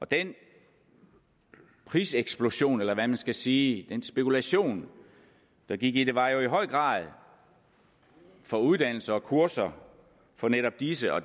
den priseksplosion eller hvad man skal sige den spekulation der gik i det var jo i høj grad for uddannelser og kurser for netop disse og